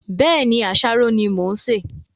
Bẹ́ẹ̀ni, àsáró ni mo ń ṣe